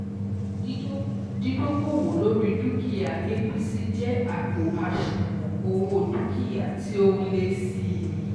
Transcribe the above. Dídókòwó lóri dúkìá ABC jẹ́ àpò àṣùwọ̀n owó dúkìá tí ó n lé sí i